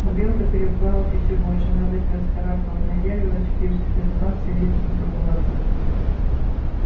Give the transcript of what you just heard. но белка перепугалась ещё больше она быстро вскарабкалась на дерево и очутившись в безопасности сердито зацокала оттуда